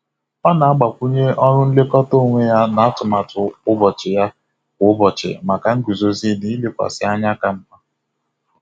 Ọ na-agbakwunye ọrụ nlekọta onwe ya na atụmatụ ụbọchị ya kwa ụbọchị maka nguzozi na ilekwasị anya ka mma.